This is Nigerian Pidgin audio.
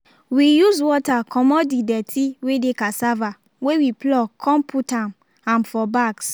we use water comot the dirty wey dey cassava wey we pluck con put am am for bags